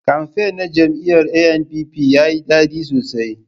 Kamfen na jam'iyar NNPP yayi dadi sosai